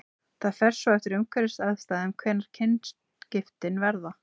Það fer svo eftir umhverfisaðstæðum hvenær kynskiptin verða.